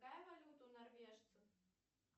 какая валюта у норвежцев